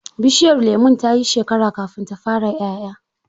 Bishiyar lemon ta yi shekara kafin ta fara 'ƴa'ƴa.